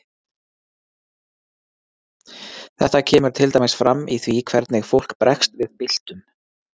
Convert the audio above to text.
Þetta kemur til dæmis fram í því hvernig fólk bregst við byltum.